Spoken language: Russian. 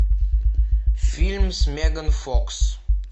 фильм с меган фокс